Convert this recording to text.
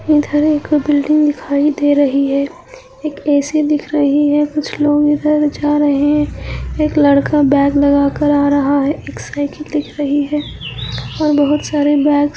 इधर एक बिल्डिंग दिखाई दे रही है एक ए_सी दिख रही है कुछ लोग इधर जा रहै एक लड़का बैग लगा कर आ रहा है। एक साइकिल दिख रही है और बहुत सारे बैग्स--